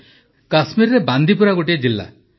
ପ୍ରଧାନମନ୍ତ୍ରୀ କାଶ୍ମୀରରେ ବାନ୍ଦିପୁରା ଗୋଟିଏ ଜିଲ୍ଲା